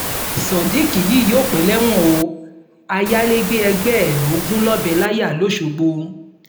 sodiq yìí yóò pẹ́ lẹ́wọ̀n o ayálégbé ẹgbẹ́ ẹ ló gún lọ́bẹ̀ láyà lọ́sgbọ̀